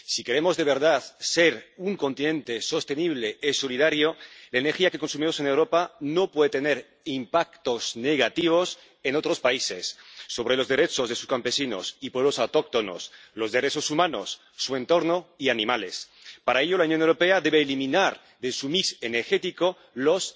Si queremos, de verdad, ser un continente sostenible y solidario, la energía que consumimos en Europa no puede tener efectos negativos en otros países sobre los derechos de sus campesinos y pueblos autóctonos, los derechos humanos, el entorno y los animales. Para ello, la Unión Europea debe eliminar de su mix energético los